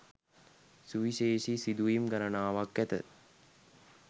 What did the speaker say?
සුවිශේෂී සිදුවීම් ගණනාවක් ඇත